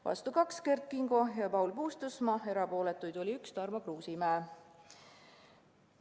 Vastu kaks: Kert Kingo ja Paul Puustusmaa, erapooletuid oli üks: Tarmo Kruusimäe.